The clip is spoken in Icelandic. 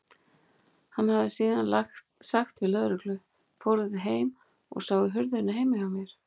Hann hefði síðan sagt við lögreglu: Fóruð þið heim og sáuð hurðina heima hjá mér?